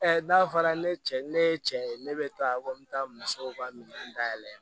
n'a fɔra ne cɛ ni ne ye cɛ ye ne bɛ taa ko n bɛ taa musow ka minɛn dayɛlɛn